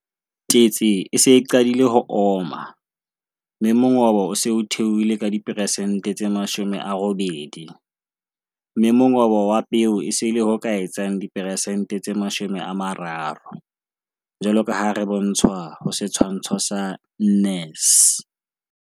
Tetse e se e qadile ho oma, mme mongobo o se o theohile ka diperesente tse 80, mme mongobo wa peo e se e le ho ka etsang diperesente tse 30 Setshwantsho sa 4c.